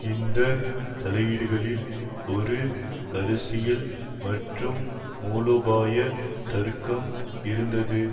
இந்த தலையீடுகளில் ஒரு அரசியல் மற்றும் மூலோபாய தர்க்கம் இருந்தது